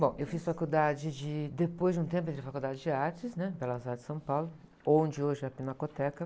Bom, eu fiz faculdade de, depois de um tempo entrei na Faculdade de Artes, né? Belas Artes de São Paulo, onde hoje é a Pinacoteca.